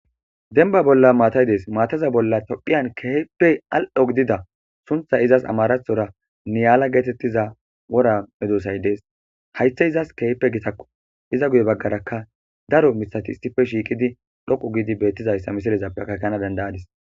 Denba bolla maatay dees maataza bolla tophiyan keeheppe al7o gidida suntha izas amarathora niyaala geetettiza wora medosay dees haythe izas keehpe gitakko iza guye baggaraka daro misati isife shiiqidi dhoqu giidi beettizayssa misilezappe kakana dandayadis.